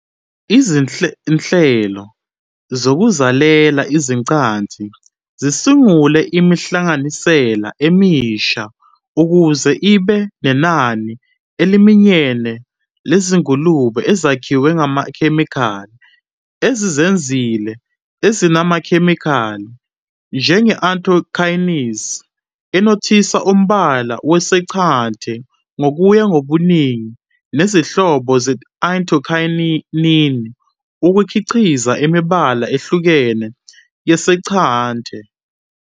Izinhlelo zokuzalela izaqathi zisungule imihlanganisela emisha ukuze ibe nenani eliminyene lezingulube ezakhiwe ngamakhemikhali ezizinzile ezinamakhemikhali, njenge- anthocyanins, enothisa umbala wesanqante ngokuya ngobuningi nezinhlobo ze-anthocyanin ukukhiqiza imibala ehlukene yesanqante.